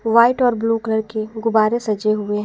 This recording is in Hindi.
व्हाइट और ब्लू कलर के गुब्बारे सजे हुए --